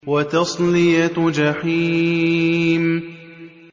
وَتَصْلِيَةُ جَحِيمٍ